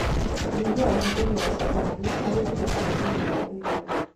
Nyihia ũhũthĩri wa cukari harĩ indo cia kũnyua na irio